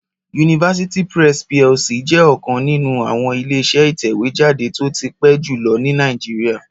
University Press PLC jẹ́ ọ̀kan nínú àwọn Ileṣẹ́ ìtẹ̀wé jáde tó ti pẹ́ jù lọ ní Nàìjíríà